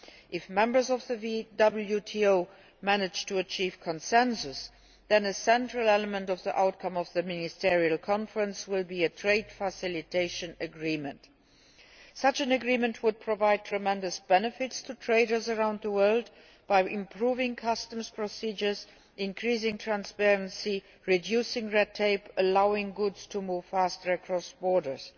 If members of the WTO manage to achieve consensus, a central element of the outcome of the Ministerial Conference will be a Trade Facilitation Agreement. Such an agreement would provide tremendous benefits to traders around the world by improving customs procedures, increasing transparency, reducing red tape and allowing goods to move faster across borders.